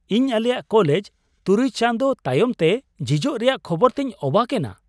ᱤᱧ ᱟᱞᱮᱭᱟᱜ ᱠᱚᱞᱮᱡᱽ ᱖ ᱪᱟᱸᱫᱳ ᱛᱟᱭᱚᱢᱛᱮ ᱡᱷᱤᱡᱚᱜ ᱨᱮᱭᱟᱜ ᱠᱷᱚᱵᱚᱨ ᱛᱮᱧ ᱚᱵᱟᱠ ᱮᱱᱟ ᱾